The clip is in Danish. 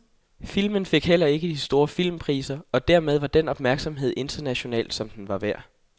Filmen fik heller ikke de store filmpriser og dermed den opmærksomhed internationalt som den var værd.